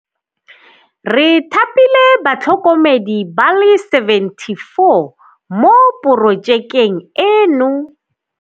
"Re thapile batlhokomedi ba le 74 mo porojekeng eno."